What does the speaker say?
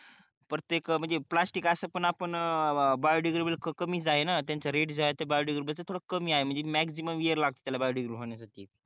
प्रत्येक प्लास्टिक असं पण आपण बायोडिग्रेबल कमीच आहे ना त्याचा रेट जॉब बायोटेक कमी आणि मॅक्झिमम लागतो त्याला बायोटेकडे टेबल होण्यासाठी